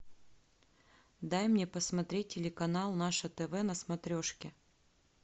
дай мне посмотреть телеканал наше тв на смотрешке